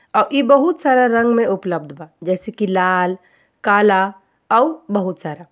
अ ई बहुत सारा रंग में उपलब्ध बा जैसे कि लाल काला अउर बहुत सारा।